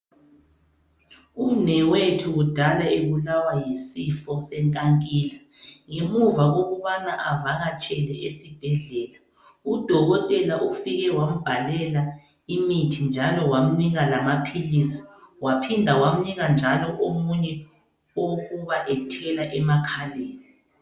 Umnewethu kudala ebulawa yisifo senkankila. Ngemuva kokubana avakatshele esibhedlela, udokotela ufike wambhalela imithi njalo wamnika lamaphilisi. Waphinda wamnika njalo omunye owokuba ethela emakhaleni.